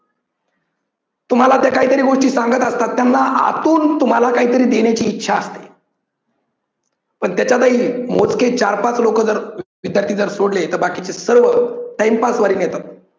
तुम्हाला ते काहीतरी गोष्टी सांगत असतात त्यांना आतून तुम्हाला काहीतरी देण्याची इच्छा असते पण त्याच्यातही मोजके चार-पाच लोक जर विद्यार्थी जर सोडले तर बाकीचे सर्व time pass वारी नेतात.